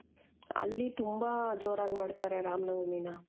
ಅಲ್ಲಿ ತುಂಬಾ ಜೋರಾಗಿ ಮಾಡ್ತಾರೆ ರಾಮನವಮಿನ .